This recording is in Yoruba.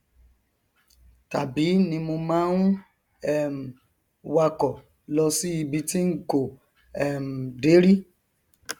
tàbí tí mo bá ń um wakọ lọ sí ibi tí n kò um dé rí